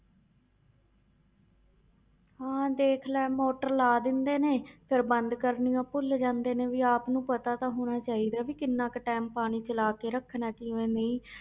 ਹਾਂ ਦੇਖ ਲੈ ਮੋਟਰ ਲਾ ਦਿੰਦੇ ਨੇ ਫਿਰ ਬੰਦ ਕਰਨੀ ਭੁੱਲ ਜਾਂਦੇ ਨੇ ਵੀ ਆਪ ਨੂੰ ਪਤਾ ਤਾਂ ਹੋਣਾ ਚਾਹੀਦਾ ਵੀ ਕਿੰਨਾ ਕੁ time ਪਾਣੀ ਚਲਾ ਕੇ ਰੱਖਣਾ ਹੈ ਕਿਵੇਂ ਨਹੀਂ